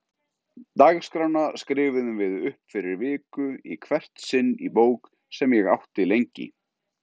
Dagskrána skrifuðum við upp fyrir viku í hvert sinn í bók sem ég átti lengi.